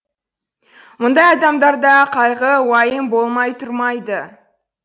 мұндай адамдарда қайғы уайым болмай тұрмайды